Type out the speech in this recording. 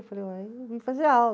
Eu falei, eu vim fazer aula.